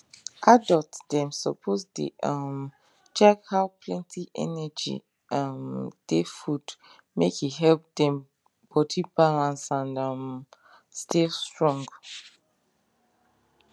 adult dem suppose dey um check how plenty energy um dey food make e help dem body balance and um stay strong